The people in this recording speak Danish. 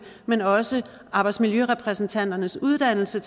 men også arbejdsmiljørepræsentanternes uddannelse